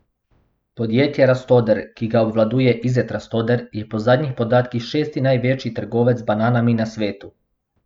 Podjetje Rastoder, ki ga obvladuje Izet Rastoder, je po zadnjih podatkih šesti največji trgovec z bananami na svetu.